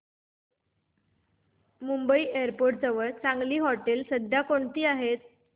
Mumbai airport जवळ चांगली हॉटेलं सध्या कोणती आहेत